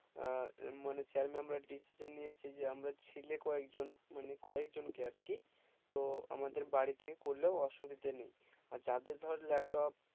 আহ মানে sir mam রা decision নিয়েছে যে আমরা ছেলে কয়েক জন মানে কয়েক জন কি আর কি তো আমাদের বাড়ি থেকে করলেও অসুবিধা নেই আর যাদের ধর laptop